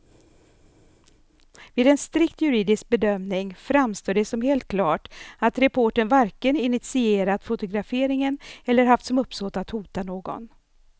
Vid en strikt juridisk bedömning framstår det som helt klart att reportern varken initierat fotograferingen eller haft som uppsåt att hota någon.